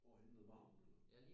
Hvorhenne nede ved havnen eller hvad?